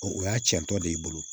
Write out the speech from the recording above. O y'a cɛntɔ de ye i bolo